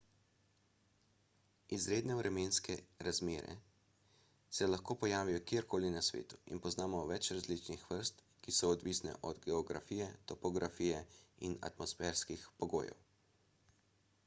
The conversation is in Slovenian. izredne vremenske razmere se lahko pojavijo kjerkoli na svetu in poznamo več različnih vrst ki so odvisne od geografije topografije in atmosferskih pogojev